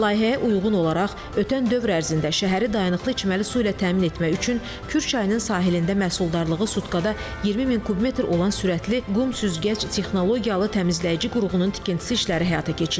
Layihəyə uyğun olaraq ötən dövr ərzində şəhəri dayanıqlı içməli su ilə təmin etmək üçün Kür çayının sahilində məhsuldarlığı sutkada 20000 kub metr olan sürətli qum süzgəc texnologiyalı təmizləyici qurğunun tikintisi işləri həyata keçirilib.